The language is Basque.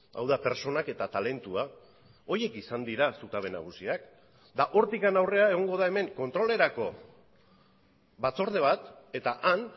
hau da pertsonak eta talentua horiek izan dira zutabe nagusiak eta hortik aurrera egongo da hemen kontrolerako batzorde bat eta han